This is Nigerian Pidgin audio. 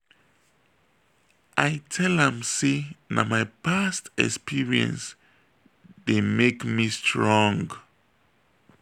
i tell am sey na my past experience dey make me strong.